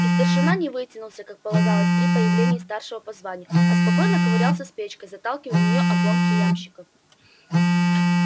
и старшина не вытянулся как полагалось при появлении старшего по званию а спокойно ковырялся с печкой заталкивая в неё обломки ямщиков